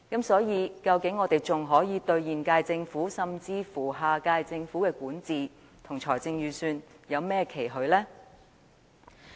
所以，我們對現屆政府，甚至下屆政府的管治和財政預算，究竟還能有甚麼期許？